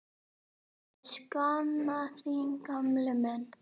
Ég sakna þín gamli minn.